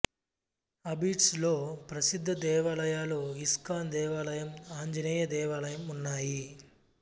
అబిడ్స్ లో ప్రసిద్ధ దేవాలయాలు ఇస్కాన్ దేవాలయం ఆంజనేయ దేవాలయం ఉన్నాయి